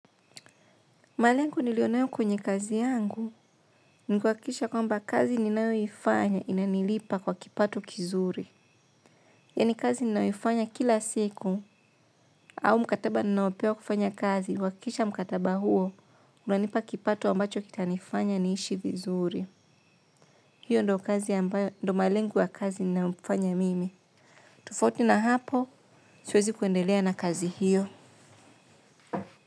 Malengu nilionayo kwenye kazi yangu. Nikuakisha kwamba kazi ninayoifanya inanilipa kwa kipato kizuri. Yani kazi ninayoifanya kila siku. Au mkataba ninaopewa kufanya kazi. Kuakikisha mkataba huo, unanipa kipato ambacho kitanifanya niishi vizuri. Hiyo ndo kazi ambayo ndo malengu wa kazi ninayofanya mimi. Tofauti na hapo, siwezi kuendelea na kazi hiyo.